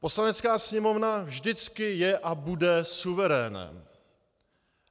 Poslanecká sněmovna vždycky je a bude suverénem.